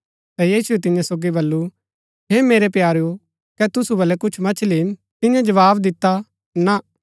ता यीशुऐ तियां सोगी बल्लू हे मेरै प्यारेओ कै तुसु बलै कुछ मछली हिन तियें जवाव दिता ना